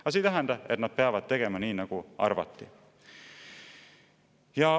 Aga see ei tähenda, et nad peavad tegema nii, nagu arvati.